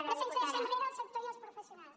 però sense deixar enrere el sector i els professionals